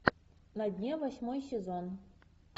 на дне восьмой сезон